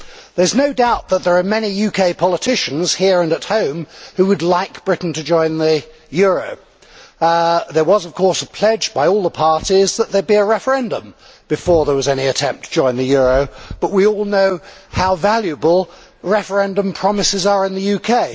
There is no doubt that there are many UK politicians, here and at home, who would like Britain to join the euro. There was a pledge by all the parties that there would be a referendum before there was any attempt to join the euro, but we all know how valuable referendum promises are in the UK.